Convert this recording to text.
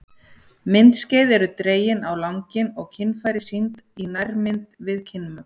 Myndskeið eru dregin á langinn og kynfæri sýnd í nærmynd við kynmök.